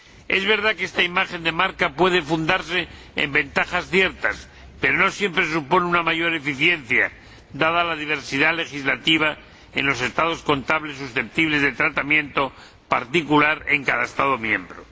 Es verdad que esta imagen de marca puede fundarse en ventajas ciertas, pero no siempre supone una mayor eficiencia, dada la diversidad legislativa en los estados contables susceptibles de tratamiento particular en cada Estado miembro.